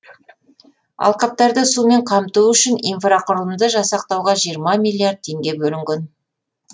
алқаптарды сумен қамту үшін инфрақұрылымды жасақтауға жиырма миллиард теңге бөлінген